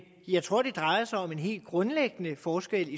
jeg tror det drejer sig om en helt grundlæggende forskel